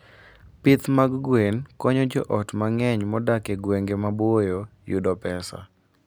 Pith mag gwen konyo joot mang'eny modak e gwenge maboyo yudo pesa.